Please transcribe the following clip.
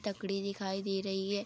तकड़ी दिखाई दे रही है।